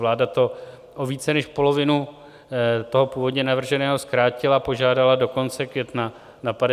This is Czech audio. Vláda to o více než polovinu toho původně navrženého zkrátila, požádala do konce května, na 58 dnů.